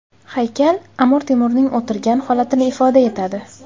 Haykal Amir Temurning o‘tirgan holatini ifoda etadi.